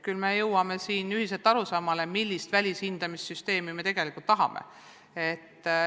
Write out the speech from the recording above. Küll me jõuame siin ühiselt arusaamale, millist välishindamissüsteemi me tegelikult tahame.